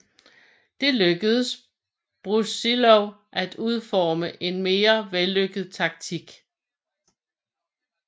Det lykkedes Brusilov at udforme en mere vellykket taktik